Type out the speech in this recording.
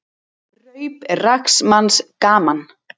Raup er rags manns gaman.